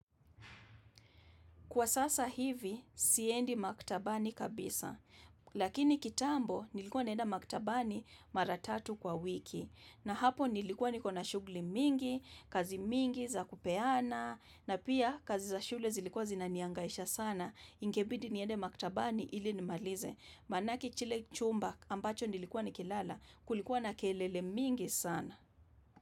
Kwa sasa hivi, siendi maktabani kabisa, lakini kitambo nilikuwa naenda maktabani mara tatu kwa wiki, na hapo nilikuwa na shughuli mingi, kazi mingi za kupeana, na pia kazi za shule zilikuwa zinanihangaisha sana, ingebidi niende maktabani ili nimalize, maanake chile chumba ambacho nilikuwa ni kilala, kulikuwa na kelele mingi sana.